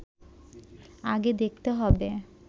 আগে দেখতে হবে